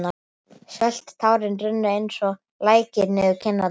Sölt tárin runnu eins og lækir niður kinnarnar.